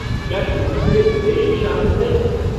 क्या शूटिंग में विदेशी शामिल हैं?